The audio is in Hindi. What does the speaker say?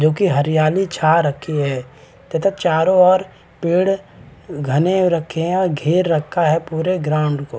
जो की हरियाली छा रखी है तथा चारों और पेड़ घने हो रखे हैं और घेर रखा है पुरे ग्राउंड को--